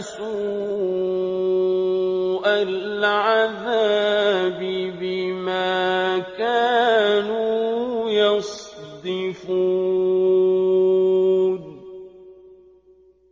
سُوءَ الْعَذَابِ بِمَا كَانُوا يَصْدِفُونَ